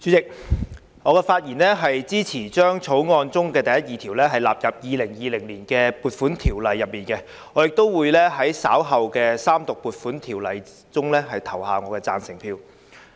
主席，我發言支持將第1及2條納入《2020年撥款條例草案》，並會在稍後《條例草案》三讀時投下贊成票。